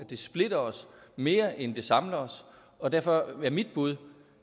det splitter os mere end det samler os og derfor er mit bud